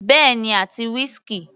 Bẹ́ẹ̀ni àti whisky.